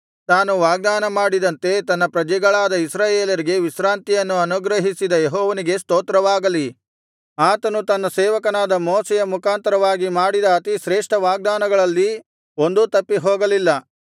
ತಾನು ವಾಗ್ದಾನ ಮಾಡಿದಂತೆ ತನ್ನ ಪ್ರಜೆಗಳಾದ ಇಸ್ರಾಯೇಲರಿಗೆ ವಿಶ್ರಾಂತಿಯನ್ನು ಅನುಗ್ರಹಿಸಿದ ಯೆಹೋವನಿಗೆ ಸ್ತೋತ್ರವಾಗಲಿ ಆತನು ತನ್ನ ಸೇವಕನಾದ ಮೋಶೆಯ ಮುಖಾಂತರವಾಗಿ ಮಾಡಿದ ಅತಿ ಶ್ರೇಷ್ಠ ವಾಗ್ದಾನಗಳಲ್ಲಿ ಒಂದೂ ತಪ್ಪಿ ಹೋಗಲಿಲ್ಲ